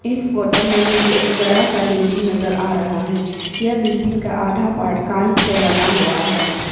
इस फोटो में मुझे एक बड़ा सा बिल्डिंग नजर आ रहा है यह बिल्डिंग का आधा पार्ट कांच से बना हुआ है।